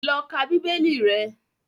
Lọ ka Bíbélì rẹ!